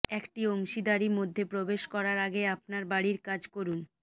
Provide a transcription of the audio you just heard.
একটি অংশীদারি মধ্যে প্রবেশ করার আগে আপনার বাড়ির কাজ করুন